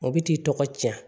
O bɛ t'i tɔgɔ cɛn